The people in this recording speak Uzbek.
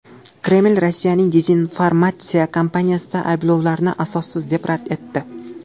Kreml Rossiyaning dezinformatsiya kampaniyasida ayblovlarni asossiz deb rad etdi.